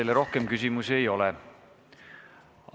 Teile rohkem küsimusi ei ole.